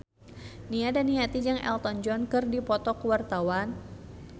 Nia Daniati jeung Elton John keur dipoto ku wartawan